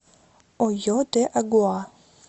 ойо де агуа